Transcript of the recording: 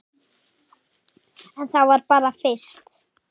En það var bara fyrst.